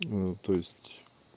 ну то есть